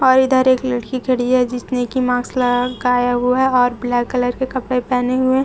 और इधर एक लड़की खड़ी है जिसने की मास्क लगाया हुआ है और ब्लैक कलर के कपड़े पहने हुए।